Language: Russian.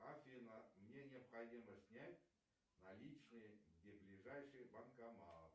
афина мне необходимо снять наличные где ближайший банкомат